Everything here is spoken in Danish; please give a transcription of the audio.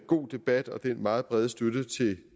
god debat og den meget brede støtte til